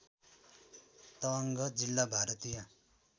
तवाङ्ग जिल्ला भारतीय